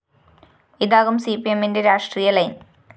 ഇതാകും സിപിഎമ്മിന്റെ രാഷ്ട്രീയ ലൈൻ